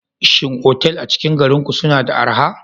Shin otal a cikin garin ku suna da araha?